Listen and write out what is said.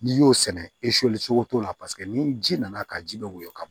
N'i y'o sɛnɛ cogo t'o la paseke ni ji nana ka ji bɛ woyɔ ka bo